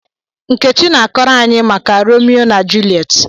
Nkechi na-akọrọ anyi maka Romeo na Juliet.